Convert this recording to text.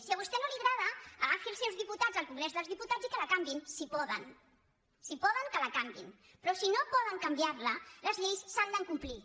si a vostè no li agrada agafi els seus diputats al congrés dels diputats i que la canviïn si poden si poden que la canviïn però si no poden canviar la les lleis s’han de complir